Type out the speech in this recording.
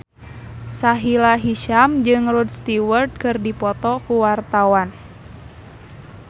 Sahila Hisyam jeung Rod Stewart keur dipoto ku wartawan